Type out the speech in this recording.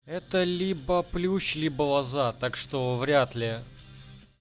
это либо плюс либо глаза так что вряд ли